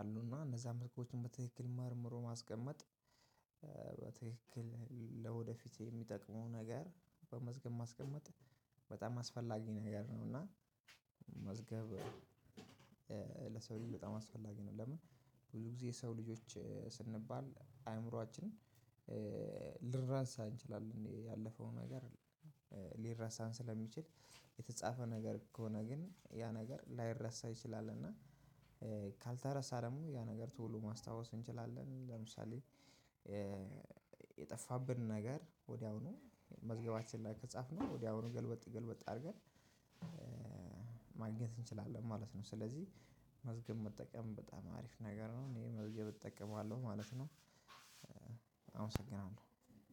አሉና እነዛ መዝገቦችን በትክክል መርምሮ ማስቀመጥ። በትክክል ለወደፊት የሚጠቅመው ነገር በመዝገብ ማስቀመጥ በጣም አስፈላጊ ነገር ነው። እና መዝገብ ለሰው ልጅ በጣም አስፈላጊ ነው። ለምን? ብዙ ጊዜ የሰው ልጆች ስንባል አእምሮአችንን ልንረሳ እንችላለን ያለፈውን ነገር ሊረሳን ስለሚችል። የተጻፈ ነገር ከሆነ ግን ያ ነገር ላይረሳ ይችላል። እና ካልተረሳ ደግሞ ያ ነገር ቶሎ ማስታወስ እንችላለን። ለምሳሌ የጠፋብን ነገር ወዲያውኑ መዝገባችን ላይ ከጻፍነው ወዲያውኑ ገልበጥ ገልበጥ አድርገን ማግኘት እንችላለን ማለት ነው። ስለዚህ መዝገብ መጠቀም በጣም አሪፍ ነገር ነው። እኔ መዝገብ እጠቀማለሁ ማለት ነው። አመሰግናለሁ